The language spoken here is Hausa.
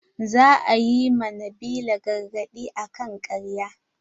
Za a yi ma nabila gargaɗi akan ƙarya.